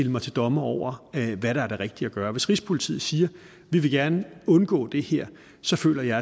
mig til dommer over hvad der er det rigtige at gøre hvis rigspolitiet siger vi vil gerne undgå det her så føler jeg